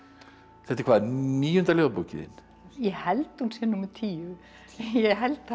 þetta er hvað níunda ljóðabókin þín ég held hún sé númer tíu ég held það